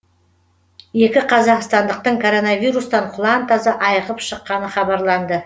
екі қазақстандықтың коронавирустан құлан таза айығып шыққаны хабарланды